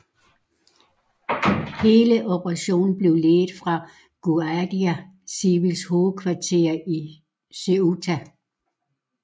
Hele operationen blev ledet fra Guardia Civils hovedkvarter i Ceuta